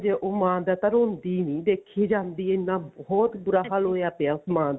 ਹੋਜੇ ਉਹ ਮਾਂ ਦਾ ਤਾਂ ਰੋਂਦੀ ਨੀ ਦੇਖੀ ਜਾਂਦੀ ਇੰਨਾ ਬਹੁਤ ਬੁਰਾ ਹਾਲ ਹੋਇਆ ਪਿਆ ਉਸ ਮਾਂ ਦਾ